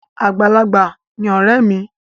Àgbàlagbà ni ọ̀rẹ́ mi.